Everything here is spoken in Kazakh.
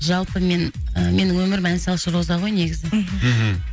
жалпы мен ы менің өмірім ән салшы роза ғой негізі мхм